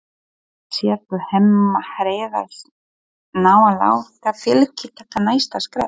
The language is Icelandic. Sérðu Hemma Hreiðars ná að láta Fylki taka næsta skref?